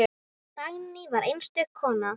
Dagný var einstök kona.